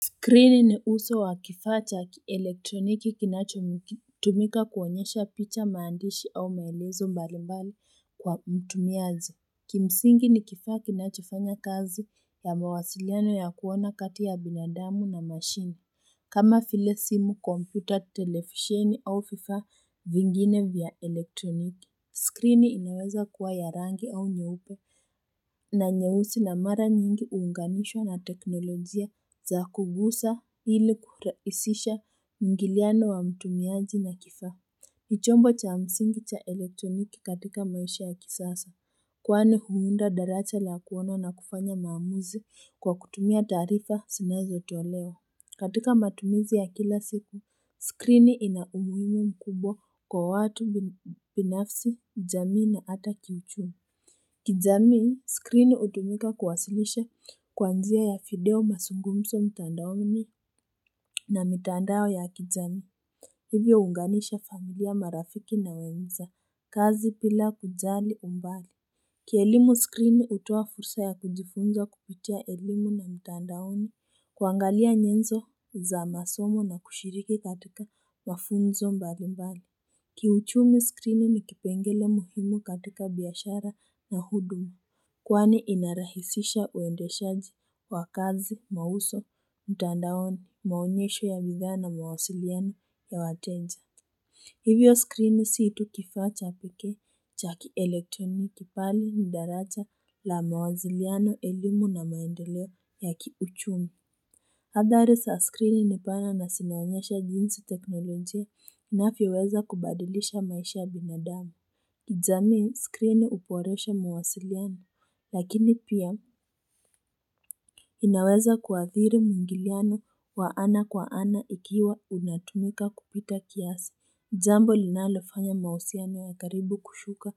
Skrini ni uso wa kifaa cha elektroniki kinachotumika kuonyesha picha maandishi au maelezo mbalimbali kwa mtumiaji. Kimsingi ni kifaa kinachofanya kazi ya mawasiliano ya kuona kati ya binadamu na mashine kama vile simu, kompyuta, televisheni au fifaa vingine vya elektroniki. Skrini inaweza kuwa ya rangi au nyeupe na nyeusi na mara nyingi uunganishwa na teknolojia za kugusa hili kuhuraisisha muingiliano wa mtumiaji na kifaa nivchombo cha msingi cha elektroniki katika maisha ya kisasa Kwanu huunda daracha la kuona na kufanya maamuzi kwa kutumia taarifa zinazotolewa katika matumizi ya kila siku, skrini inaumuhimu mkubwa kwa watu binafsi, jamii na hata kiuchumi. Kijamii, skrini utumika kuwasilisha kwa njia ya video mazungumzo mtandaoni na mitandao ya kijamii. Hivyo unganisha familia marafiki na wenza, kazi bila kujali umbali. Kielimu skrini utoa fursa ya kujifunza kupitia elimu na mtandaoni kuangalia nyenzo za masomo na kushiriki katika mafunzo mbali mbali Kiuchumi skrini ni kipengele muhimu katika biashara na huduma Kwane inarahisisha uendeshaji wa kazi mauzo mtandaoni maonyesho ya bidhaa na mawasiliano ya wateja Hivyo skrini si tu kifaa cha pekee cha ki-elektroniki bali ndaraja la mawasiliano elimu na maendoleo ya kiuchumi Adhari za skrini ni pana na zinaonyesha jinsi teknolojia inavyoweza kubadilisha maisha ya binadamu jamii skrini huboresha mawasiliano lakini pia inaweza kuadhiri muingiliano wa ana kwa ana ikiwa unatumika kupita kiasi Jambo linalofanya mahusiano ya karibu kushuka